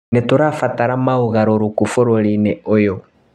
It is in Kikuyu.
Nĩtũrabatara mogarũrũku bũrũri-inĩ ũyũ